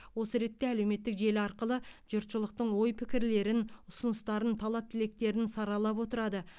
осы ретте әлеуметтік желі арқылы жұртшылықтың ой пікірлерін ұсыныстарын талап тілектерін саралап отырады